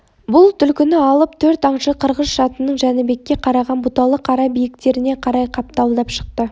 бұл түлкіні алып төрт аңшы қырғыз-шатының жәнібекке қараған бұталы қара биіктеріне қарай қапталдап шықты